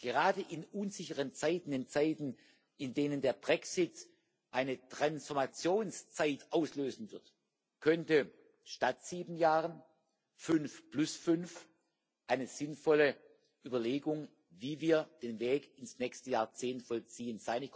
Gerade in unsicheren Zeiten in Zeiten, in denen der Brexit eine Transformationszeit auslösen wird könnte statt sieben Jahren fünf-plus-fünf eine sinnvolle Überlegung sein, wie wir den Weg ins nächste Jahrzehnt vollziehen.